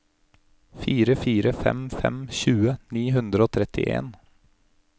fire fire fem fem tjue ni hundre og trettien